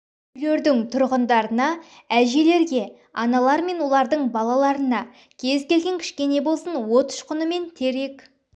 үйлердің тұрғындарына әжелерге аналар мен олардың балаларына кез келген кішкене болсын от ұшқыны мен терек